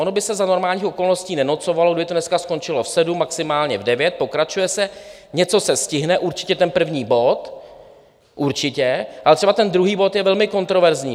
Ono by se za normálních okolností nenocovalo, kdyby to dneska skončilo v sedm, maximálně v devět, pokračuje se, něco se stihne, určitě ten první bod, určitě, ale třeba ten druhý bod je velmi kontroverzní.